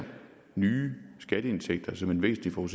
nitten million